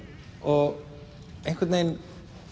og einhvern veginn